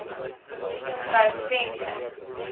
vrou venter l